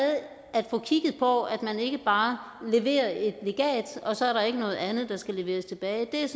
at få kigget på at man ikke bare leverer et legat og så er der ikke noget andet der skal leveres tilbage er jeg